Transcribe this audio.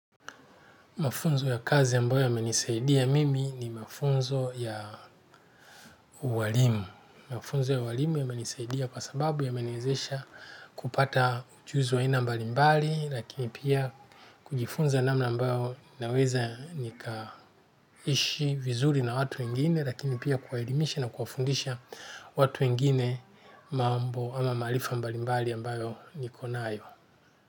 Mafunzo ya kazi ambayo yamenisaidia mimi ni mafunzo ya ualimu. Mafunzo ya ualimu yamenisaidia kwa sababu yameniwezesha kupata ujuzi wa aina mbali mbali, lakini pia kujifunza namna ambayo naweza nikaishi vizuri na watu wengine, lakini pia kuwaelimisha na kuwafundisha watu wengine mambo ama maarifa mbali mbali ambayo nikonayo.